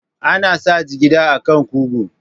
Ana sa jigida a kan kugu.